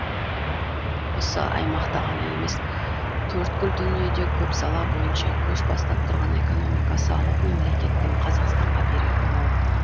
осы аймақта ғана емес төрткүл дүниеде көп сала бойынша көш бастап тұрған экономикасы алып мемлекеттің қазақстанға берері мол